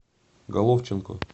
головченко